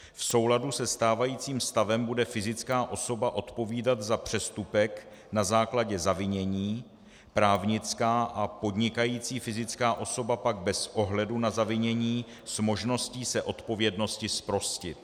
V souladu se stávajícím stavem bude fyzická osoba odpovídat za přestupek na základě zavinění, právnická a podnikající fyzická osoba pak bez ohledu na zavinění s možností se odpovědnosti zprostit.